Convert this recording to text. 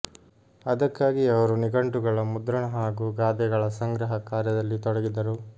ಅದಕ್ಕಾಗಿಯೇ ಅವರು ನಿಘಂಟುಗಳ ಮುದ್ರಣ ಹಾಗೂ ಗಾದೆಗಳ ಸಂಗ್ರಹ ಕಾರ್ಯದಲ್ಲಿ ತೊಡಗಿದರು